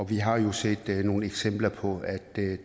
vi har jo set nogle eksempler på at det